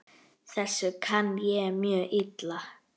Þessu kann ég mjög illa.